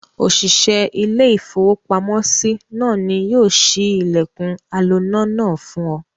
Òṣìṣẹ́ ilé-iìfowópamọ́sí náà ni yóò ṣí ilẹ̀kùn aloná náà fún ọ.